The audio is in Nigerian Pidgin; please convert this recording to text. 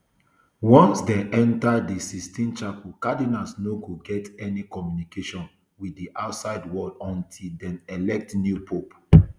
once dem enta di sistine chapel cardinals no go get any communication wit di outside world until dem elect new pope